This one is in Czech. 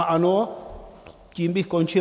A ano, tím bych končil.